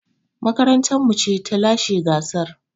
Makarantar mu ce ta lashe gasar.